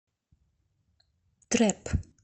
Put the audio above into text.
трэп